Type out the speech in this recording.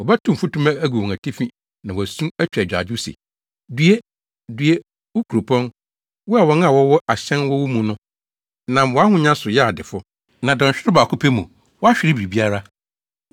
Wɔbɛtow mfutuma agu wɔn atifi na wɔasu, atwa agyaadwo se, “ ‘Due! Due, wo kuropɔn, wo a wɔn a wɔwɔ ahyɛn wɔ wo mu no nam wʼahonya so yɛɛ adefo. Na dɔnhwerew baako pɛ mu, woahwere biribiara!’